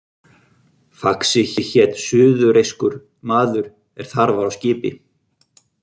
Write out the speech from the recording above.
Faxi hét suðureyskur maður er þar var á skipi.